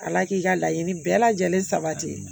Ala k'i ka laɲini bɛɛ lajɛlen sabati